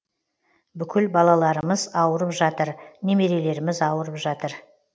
бүкіл балаларымыз ауырып жатыр немерелеріміз ауырып жатыр